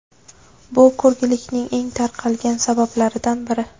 Bu ko‘rlikning eng tarqalgan sabablaridan biri.